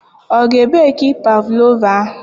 Ọ ga ebeki pavlova ahụ?